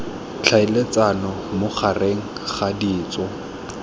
tlhaeletsano mo gareg ga ditso